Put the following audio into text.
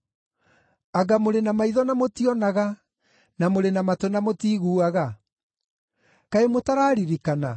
Anga mũrĩ na maitho na mũtionaga, na mũrĩ na matũ na mũtiiguaga? Kaĩ mũtararirikana?